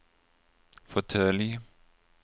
fåtölj